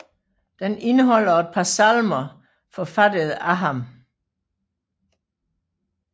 Den indeholder et par salmer forfattede af ham